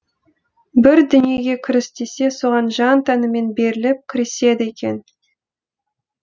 бір дүниеге кіріс десе соған жан тәнімен беріліп кіріседі екен